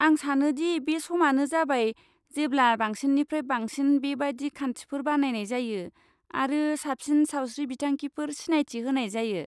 आं सानो दि बे समानो जाबाय जेब्ला बांसिननिफ्राय बांसिन बेबादि खान्थिफोर बानायनाय जायो आरो साबसिन सावस्रि बिथांखिफोर सिनायथि होनाय जायो।